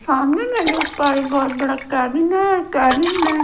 सामने मैं देख पा रही हूं बहुत बड़ा कैबिन कैबिन में--